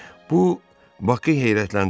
Bu Bakı heyrətləndirdi.